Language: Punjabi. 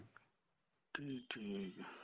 ਠੀਕ ਠੀਕ ਏ